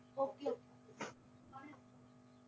okay